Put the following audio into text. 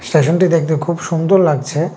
স্টেশনটি দেখতে খুব সুন্দর লাগছে।